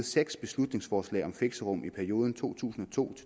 seks beslutningsforslag om fixerum i perioden to tusind og to